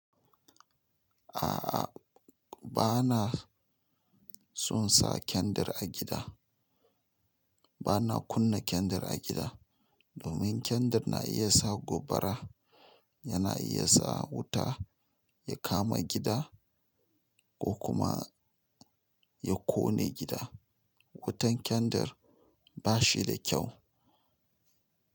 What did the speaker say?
Ah ah banason sa kendir a gida ba na kunna kyandir a gida domin kyandir na iya sa gobara, yana iya sa wuta ya kama gida ko kuma ya ƙone gida. Wutan kyandir ba shi da kyau.